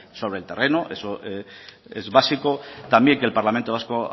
sobre el terreno eso es básico también que el parlamento vasco